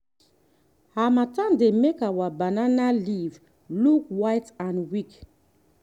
harmattan dey make our banana leaf look white and weak.